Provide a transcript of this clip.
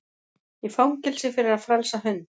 Í fangelsi fyrir að frelsa hund